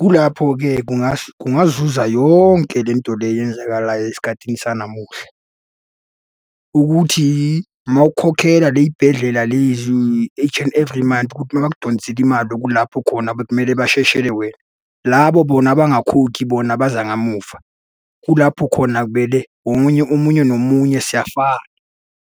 Kulapho-ke kungazuza yonke le nto le eyenzakalayo esikhathini sanamuhla, ukuthi uma ukhokhela le y'bhedlela lezi each and every month, ukuthi uma bakudonsele imali okulapho khona bekumele besheshe wena. Labo bona abangakhokhi bona beza kamuva. Kulapho khona kumele omunye omunye nomunye siyafana,